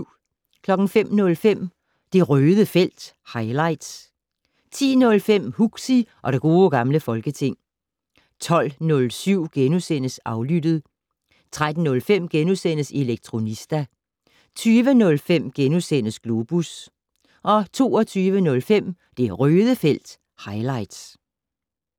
05:05: Det Røde felt - highlights 10:05: Huxi og det gode gamle folketing 12:07: Aflyttet * 13:05: Elektronista * 20:05: Globus * 22:05: Det Røde felt - highlights